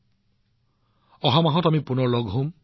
আমি অহা মাহত পুনৰ লগ পাম